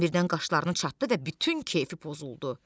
Adam birdən qaşlarını çattı və bütün keyfi pozuldu.